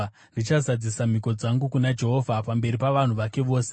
Ndichazadzisa mhiko dzangu kuna Jehovha, pamberi pavanhu vake vose,